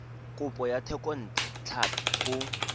kopo ya thekontle tlhapi go